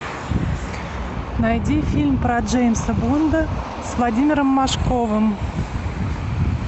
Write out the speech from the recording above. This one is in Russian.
найди фильм про джеймса бонда с владимиром машковым